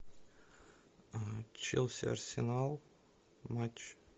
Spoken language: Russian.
челси арсенал матч